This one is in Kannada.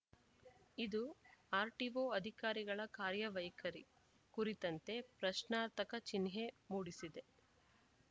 ಇದು ಆರ್‌ಟಿಓ ಅಧಿಕಾರಿಗಳ ಕಾರ್ಯವೈಖರಿ ಕುರಿತಂತೆ ಪ್ರಶ್ನಾರ್ಥಕ ಚಿಹ್ನೆ ಮೂಡಿಸಿದೆ